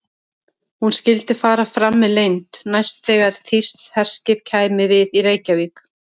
Hún skyldi fara fram með leynd, næst þegar þýskt herskip kæmi við í Reykjavík.